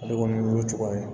Ale kɔni ye o cogoya ye